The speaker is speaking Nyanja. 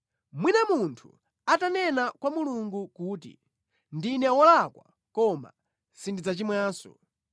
“Mwina munthu atanena kwa Mulungu kuti, ‘Ndine wolakwa koma sindidzachimwanso,